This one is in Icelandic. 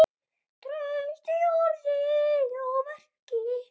Traust í orði og verki.